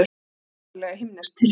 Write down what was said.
Undarlega himnesk tilfinning.